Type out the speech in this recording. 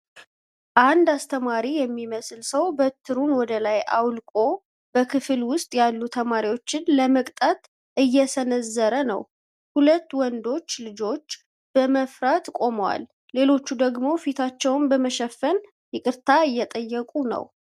አንድ አስተማሪ የሚመስል ሰው በትሩን ወደ ላይ አውልቆ፣ በክፍል ውስጥ ያሉ ተማሪዎችን ለመቅጣት እየሰነዘረ ነው፡ ሁለት ወንዶች ልጆች በመፍራት ቆመዋል፣ ሌሎቹ ደግሞ ፊታቸውን በመሸፈን ይቅርታ እየጠየቁ ነው፡፡